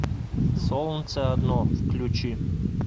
солнце одно включи